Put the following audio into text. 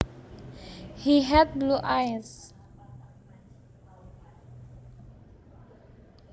He had blue eyes